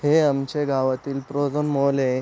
हे आमचे गावातील मॉल ए.